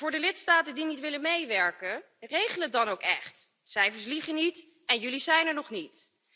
En voor de lidstaten die niet willen meewerken, regel het dan ook echt cijfers liegen niet, en jullie zijn er nog niet.